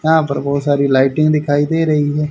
यहां पर बहुत सारी लाइटिंग दिखाई दे रही है।